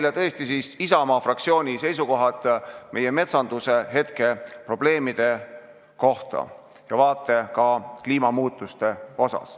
Mina toon teieni Isamaa fraktsiooni arusaamad meie metsanduse hetkeprobleemidest ja kliimamuutustest.